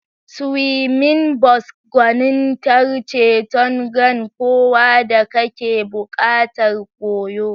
Swimming Bos gwanintar ceton ran kowa da kake buƙatar koyo.